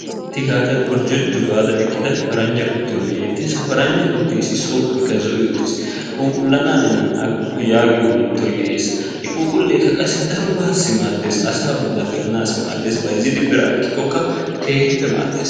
Sitti gaada qorjojju gaada eqida paranjja kuttiyo be'eetees, ha paranjja kutee som'oy zo'i utiis phuuphulana hannenan agukku yaagiyo mentoy dees, i phuuphuleekka qassi darobaassi maades, asaa bolan gelanasi maades bayzzidi biraa ekkikokka keehippe maadees.